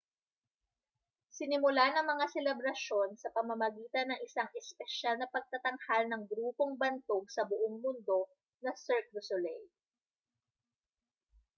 sinimulan ang mga selebrasyon sa pamamagitan ng isang espesyal na pagtatanghal ng grupong bantog sa buong mundo na cirque du soleil